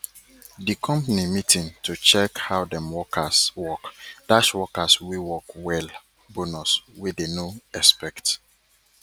the company meeting to check how dem workers workdash workers wey work well bonus wey dey no expect